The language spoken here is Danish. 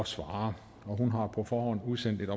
svare og hun har på forhånd udsendt en